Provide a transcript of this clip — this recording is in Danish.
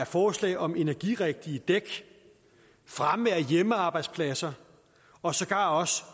forslag om energirigtige dæk fremme af hjemmearbejdspladser og sågar også